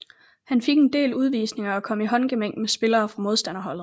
Han fik en del udvisninger og kom i håndgemæng med spillere fra modstanderholdet